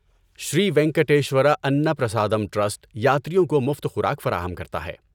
شری Venkateshwara Anna Prasadam trust یاتریوں کو مفت خوراک فراہم کرتا ہے۔